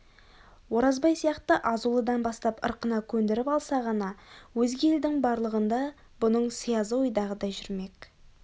оразбай сияқты азулыдан бастап ырқына көндіріп алса ғана өзге елдің барлығында бұның сиязы ойдағыдай жүрмек керек